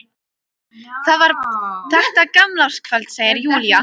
Það var þetta gamlárskvöld, segir Júlía.